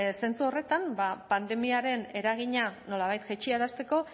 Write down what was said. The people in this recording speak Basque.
zentzu horretan ba pandemiaren eragina nolabait jaitsiarazteko